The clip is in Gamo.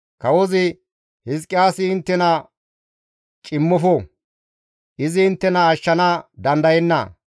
Kawozi, ‹Hizqiyaasi inttena cimmofo; izi inttena ashshana dandayenna.